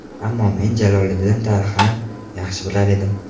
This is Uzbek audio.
Ammo men Jaloliddin tarixini yaxshi bilar edim.